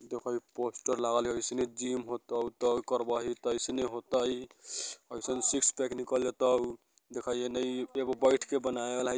देखो इ पोस्टर लागल है| इसमें जिम होता ऐसे होता है सिक्स पैक निकाला जाता है| देखा एन्ने एगो बैठकर बनाने वाला--